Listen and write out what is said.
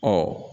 Ɔ